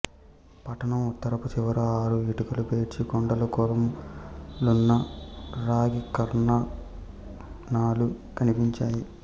పట్టణం ఉత్తరపు చివర ఆరు ఇటుకలు పేర్చిన కుండ కొలుములున్న రాగికార్ఖానాలు కనిపించాయి